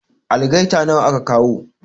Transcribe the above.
Algaita nawa aka kawo?